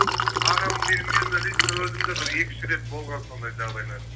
маған мен мен лично өзімде бір екі үш рет болған сондай жағдайлар